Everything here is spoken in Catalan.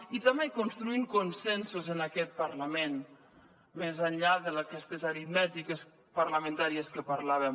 i també construint consensos en aquest parlament més enllà d’aquestes aritmètiques parlamentàries que parlàvem